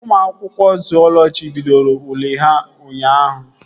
Ụmụ akwụkwọ zuọlọji bidoro ule ha ụnyaahụ